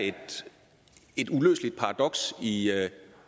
et uløseligt paradoks i